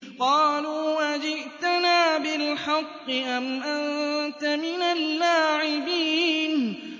قَالُوا أَجِئْتَنَا بِالْحَقِّ أَمْ أَنتَ مِنَ اللَّاعِبِينَ